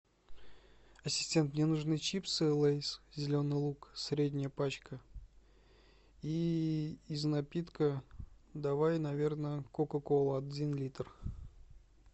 ассистент мне нужны чипсы лейс зеленый лук средняя пачка и из напитка давай наверно кока кола один литр